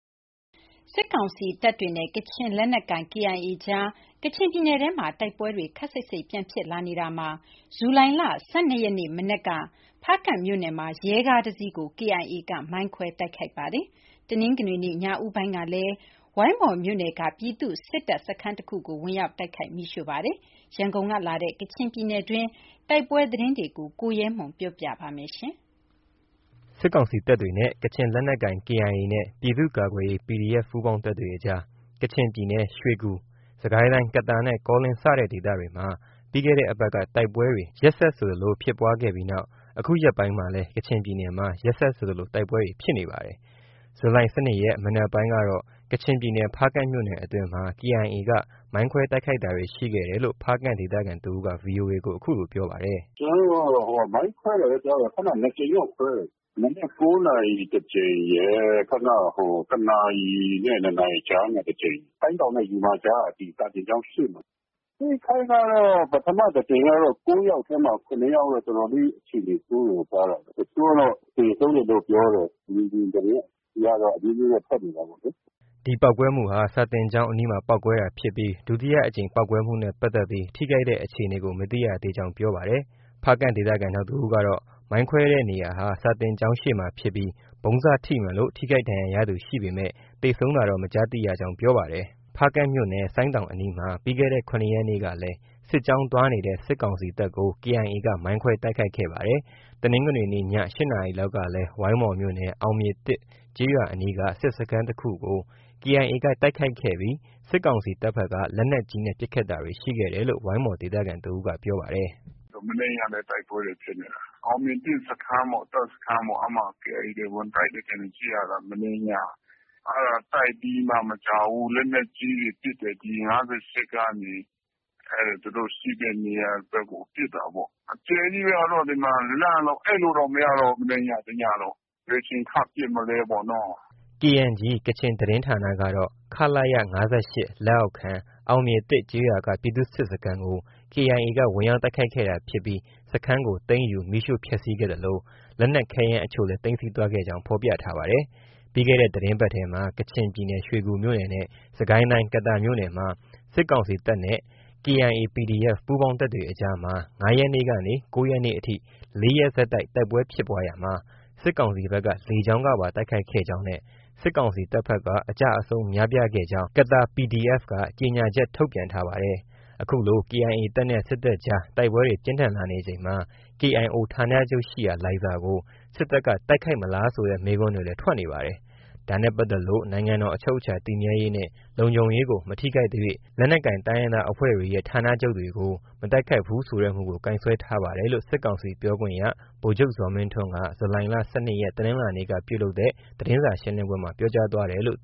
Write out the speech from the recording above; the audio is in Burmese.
စစ်ကောင်စီတပ်တွေနဲ့ ကချင်လက်နက်ကိုင် KIA အကြားမှာ ကချင်ပြည်နယ်ထဲမှာ တိုက်ပွဲတွေ ခပ်စိပ်စိပ်ပြန်ဖြစ်လာနေတာမှာ ဇူလိုင်လ ၁၂ ရက်မနက်က ဖားကန့်မြို့နယ်မှာ ရဲကား တစ်စီးကို KIA က မိုင်းခွဲတိုက်ခိုက်ခဲ့ပါတယ်။ တနင်္ဂနွေနေ့ ညဦးပိုင်းကလည်း ဝိုင်းမော်မြို့နယ်က ပြည်သူ့စစ်တပ်စခန်းတစ်ခုကို ဝင်ရောက်တိုက်ခိုက်မီးရှိုခဲ့ပါတယ်။ ရန်ကုန်ကလာတဲ့ ကချင်ပြည်နယ်အတွင်းက တိုက်ပွဲသတင်းတွေကို ရဲမွန် က တင်ပြပါမယ်။ စစ်ကောင်စီတပ်တွေနဲ့ ကချင်လက်နက်ကိုင် KIA နဲ့ ပြည်သူကာကွယ်ရေး PDF ပူးပေါင်းတပ်တွေအကြား ကချင်ပြည်နယ် ရွှေကူ၊ စစ်ကိုင်းတိုင်း ကသာနဲ့ ကောလင်း စတဲ့ဒေသတွေမှာ ပြီးခဲ့တဲ့ တပါတ်က တိုက်ပွဲတွေ ရက်ဆက်ဆိုသလို ဖြစ်ပွားခဲ့နောက် အခုရက်ပိုင်းမှာလည်း ကချင်ပြည်နယ်မှာ ရက်ဆက်ဆိုသလို တိုက်ပွဲတွေဖြစ်နေပါတယ်။ ဇူလိုင် ၁၂ ရက် မနက်ပိုင်းကတော့ ကချင်ပြည်နယ် ဖားကန့်မြို့နယ်အတွင်းမှာ KIA က မိုင်းခွဲတိုက်ခိုက်တာတွေရှိခဲ့ တယ်လို့ ဖားကန့် ဒေသခံတစ်ဦးက VOA ကို အခုလို ပြောပါတယ်။ “ ကျနော်တို့က မိုင်းခွဲတာပဲကြားတယ်။ ခုနက ၂ ကြိမ်တော့ ကွဲတယ်။ မနက် ၉နာရီ တစ်ကြိမ်ရယ်။ ခုနက တစ်နာရီနဲ့ နှစ်နာရီကြားမှာ တစ်ကြိမ်။ ဆိုင်းတောင်နဲ့ ယူမာ ကြားက စာသင်ကျောင်းရှေ့မှာ။ အထိအခိုက် ကတော့ ၉ယောက်ထဲမှာ ၇ယောက်ကတော့ တော်တော်လေး အခြေအနေ ဆိုးတယ်လို့ကြားတယ်။ တချို့က တော့ သေဆုံးတယ်လို့ ပြောတယ်။ မြေပြင်သတင်းကတော့ အမျိုးမျိုးထွက်နေတာပေါ့လေ။ ” ဒီပေါက်ကွဲမှုဟာ စာသင်ကျောင်းအနီးမှာ ပေါက်ကွဲတာဖြစ်ပြီး ဒုတိယအကြိမ် ပေါက်ကွဲမှုနဲ့ပတ်သက်ပြီး ထိခိုက်တဲ့အခြေအနေကို မသိရကြောင်း ပြောပါတယ်။ ဖားကန့်ဒေသခံ နောက်တစ်ဦးကတော့ မိုင်းခွဲတဲ့နေရာဟာ စာသင်ကျောင်းရှေ့ဖြစ်ပြီး၊ ဗုံးစထိမှန်လို ထိခိုက်ဒဏ်ရာရသူရှိပေမဲ့ သေဆုံးတာတော့ မကြားသိရကြောင်း ပြောပါတယ်။ ဖားကန့်မြို့နယ် ဆိုင်းတောင်အနီးမှာ ပြီးခဲ့တဲ့ ၇ ရက်နေ့ကလည်း စစ်ကြောင်းသွားနေတဲ့ စစ်ကောင်စီတပ်ကို KIA က မိုင်းခွဲတိုက်ခိုက်ခဲ့ပါတယ်။ တနင်္ဂနွေနေ့ ည ၈နာရီလောက်ကလည်း ဝိုင်းမော်မြို့နယ် အောင်မြေ (၁) ကျေးရွာအနီးက စစ်စခန်းတစ်ခုကို KIA ကတိုက်ခိုက်ခဲ့ပြီး စစ်ကောင်စီတပ်ဘက်က လက်နက်ကြီးနဲ့ ပစ်ခတ်တာတွေ ရှိခဲ့တယ်လို့ ဝိုင်းမော်ဒေသခံ တစ်ဦးက ပြောပါတယ်။ “ မနေ့ညကလည်း တိုက်ပွဲတွေ ဖြစ်နေတာ။ အောင်မြေ(၁) စခန်းပေါ့။ တပ်စခန်း။ KIA တွေ ဝင်တိုက်တယ်ထင်တယ်။ကြည့်ရတာ။ မနေ့ညက အဲဒါတိုက်ပြီးမှ မကြာဘူး လက်နက်ကြီးတွေ ပစ်တယ်။ ဒီ ၅၈ ကနေ။ အဲဒါ သူတို့ ရှိတဲ့နေရာဘက်ကို ပစ်တာပေါ့။ အကျယ်ကြီးပဲ။ လန့်လို့ ဒီမှာ အိပ်လို့တောင်မရတော့ဘူး။ မနေ့ညက တစ်ညလုံး။ ဘယ်အချိန်ထပ် ပစ်မလဲပေါ့။” KNG ကချင်သတင်းဌာနကတော့ ခလရ ၅၈ လက်အောက်ခံ အောင်မြေ (၁)ကျေးရွာက ပြည်သူ့စစ်စခန်းကို KIA က ဝင်ရောက်တိုက်ခိုက်ခဲ့တာဖြစ်ပြီး စခန်းကို သိမ်းယူ၊ မီးရှို့ဖျက်ဆီးခဲ့သလို လက်နက်ခဲယမ်းအချို့လည်း သိမ်းဆည်းသွားခဲ့ကြောင်း ဖော်ပြထားပါတယ်။ ပြီးခဲ့တဲ့သတင်းပတ်ထဲမှာ ကချင်ပြည်နယ် ရွှေကူမြို့နယ် နဲ့ စစ်ကိုင်းတိုင်း ကသာမြို့နယ်မှာ စစ်ကောင်စီတပ်နဲ့ KIA-PDF ပူးပေါင်းတပ်တွေအကြားမှာ ၅ ရက်နေ့ကနေ ၉ရက်နေ့အထိ ၄ရက်ဆက်တိုက် တိုက်ပွဲဖြစ်ပွားရာမှာ စစ်ကောင်စီဘက်က လေကြောင်းကပါ တိုက်ခိုက်ခဲ့ကြောင်းနဲ့ စစ်ကောင်စီတပ်ဖက်က အကျအဆုံးများပြား ခဲ့ကြောင်း ကသာ PDF က ကြေညာချက် ထုတ်ပြန်ထားပါတယ်။ ခုလို အေအိုင်အေတပ်နဲ့ စစ်တပ်ကြား တိုက်ပွဲတွေ ပြင်းထန်လာနေချိန် ကေအိုင်အိုဌာနချုပ်ရှိရာ လိုင်ဇာကို စစ်တပ်ကတိုက်ခိုက်မလားဆိုတဲ့ မေးခွန်းတွေလည်း ထွက်နေပါတယ်။ ဒါနဲ့ပါတ်သက်လို့ နိုင်ငံတော် အချုပ်အခြာတည်မြဲရေးနဲ့ လုံခြုံရေးကို မထိခိုက်သရွှေ့ လက်နက်ကိုင်တိုင်းရင်းသားအဖွဲ့တွေရဲ့ ဌာနချုပ်တွေကို မတိုက်ခိုက်ဘူးဆိုတဲ့ မူကို ကိုင်စွဲထားပါတယ်လို့ စစ်ကောင်စီပြောခွင့်ရ ဗိုလ်ချုပ်ဇော်မင်းထွန်းက ဇူလိုင် ၁၂ ရက် တနင်္လာနေ့ကလုပ်တဲ့ သတင်းစာရှင်းပွဲမှာ ပြောကြားသွားပါတယ်။